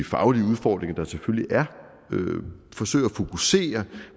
faglige udfordringer der selvfølgelig er forsøger at fokusere